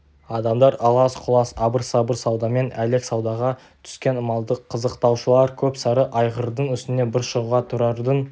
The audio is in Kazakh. адамдар алас-құлас абыр-сабыр саудамен әлек саудаға түскен малды қызықтаушылар көп сары айғырдың үстіне бір шығуға тұрардың